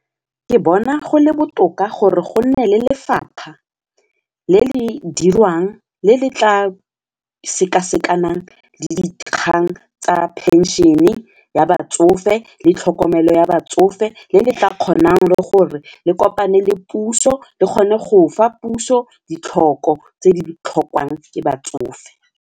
Ke bona go le botoka gore go nne le lefapha le le dirwang le le tla sekasekang le dikgang tsa pension-e ya batsofe le tlhokomelo ya batsofe le le ka kgonang le gore le kopane le puso le kgone go fa puso ditlhoko tse di tlhokwang ke batsofe.